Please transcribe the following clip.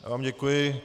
Já vám děkuji.